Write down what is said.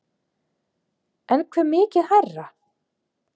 En hve mikið hærra?